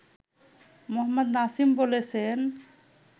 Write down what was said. মোহাম্মদ নাসিম বলেছেন